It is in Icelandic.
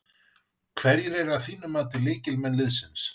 Hverjir eru að þínu mati lykilleikmenn liðsins?